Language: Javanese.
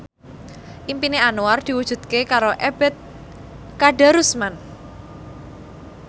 impine Anwar diwujudke karo Ebet Kadarusman